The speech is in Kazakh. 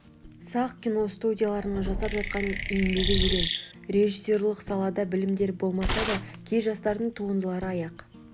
сақ киностудияларының жасап жатқан еңбегі ерен режиссерлік салада білімдері болмаса да кей жастардың туындылары аяқ